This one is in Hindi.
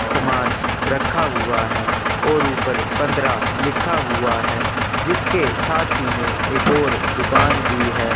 समान रखा हुआ है और ऊपर पंद्रह लिखा हुआ है जिसके साथ ही मै एक और दुकान भी है।